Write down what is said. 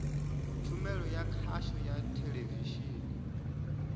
tshumelo ya khasho ya theḽevishini